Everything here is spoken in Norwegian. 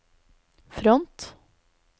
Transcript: front